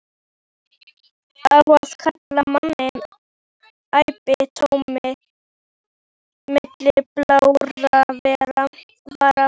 Á að kála manni æpti Tóti milli blárra vara.